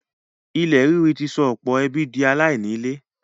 ilẹ̀ ríri ti sọ ọ̀pọ̀ ẹbí di aláìní ilé.